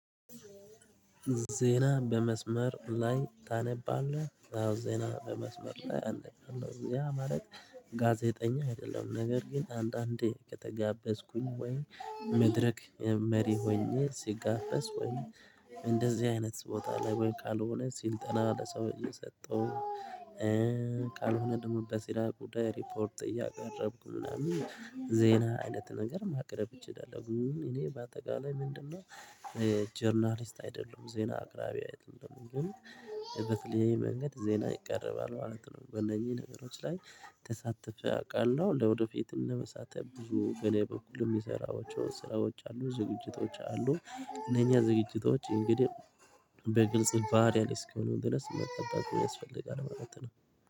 ዜና በመስመር ላይ ታነባለህ አዎ ዜና በመስመር ላይ አነባለሁ ያ ማለት። ጋዜጠኛ አይደለም ነገር ግን አንዳንዴ ከተጋበዝኩኝ ወይም መድረክ መሪ ሆኜ ሲጋፈስ ሆኜ እንደዚህ አይነት ቦታ ላይ ወይ ካልሆነ ሲልጠና ለሰው እየሰጠው ቃል ሆነ ደግሞ በስራ ጉዳይ ሪፖርት እያቀረብኩ ምናምን ዜና አይነት ነገር ማቅረብ እችላለሁ። እኔ በአጠቃላይ ምንድነው? ጀርናሊስት አይደለም ዜና አቅራቢ አይደለሁም። ግን የበተለያዬ መንገድ ዜና ይቀርባል ማለት ነው። በእነኚህ ነገሮች ላይ ተሳትፈው ያውቃሉ ለወደፊትም ለመሳተፍ ብዙ በእኔ በኩልም የሰራዎቹ ስራዎች አሉ ዝግጅቶች አሉ። እነኛ ዝግጅቶች እንግዲህ በግልጽ ባሪያል እስክ የሆኑ ድረስ መጠንቀቅ ያስፈልጋል ማለት ነው።